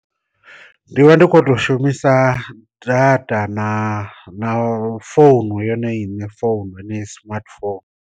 Ndi vha ndi kho to shumisa data na na founu yone iṋe founu heneyi smartphone.